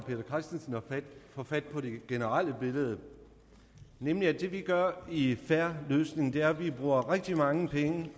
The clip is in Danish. få fat på det generelle billede nemlig at det vi gør i en fair løsning er at vi bruger rigtig mange penge